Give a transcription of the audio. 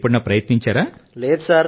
మరి మీరు ఎప్పుడైనా ప్రయత్నించారా